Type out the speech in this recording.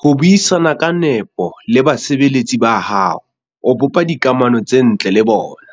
Ha o buisana ka nepo le basebeletsi ba hao, o bopa dikamano tse ntle le bona,